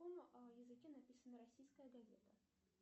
на каком языке написана российская газета